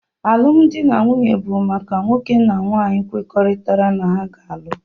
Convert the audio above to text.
Alụmdi na nwunye bụ maka nwoke na nwaanyị kwekoritara na ha ga-alụ